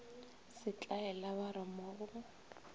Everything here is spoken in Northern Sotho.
setlaela ba re mo go